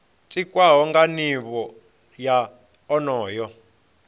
tikwaho nga nivho ya onoyo